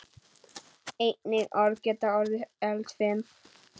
Einnig orð geta orðið eldfim.